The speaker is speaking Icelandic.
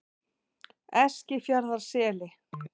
Eskifjarðarseli